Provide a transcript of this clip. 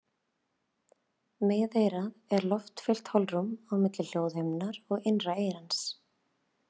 Miðeyrað er loftfyllt holrúm á milli hljóðhimnunnar og innra eyrans.